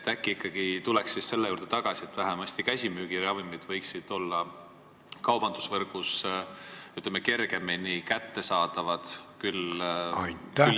Äkki tuleks ikkagi selle juurde tagasi, et vähemasti käsimüügiravimid võiksid olla kaubandusvõrgus kergemini kättesaadavad.